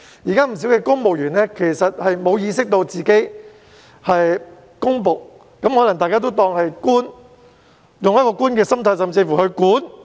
現時不少公務員沒有意識到自己是公僕，他們可能只當自己是"官"，用為官的心態甚麼也要"管"。